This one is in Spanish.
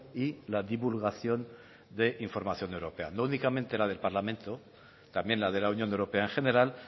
y la divulgación de información europea no únicamente la del parlamento también la de la unión europea en general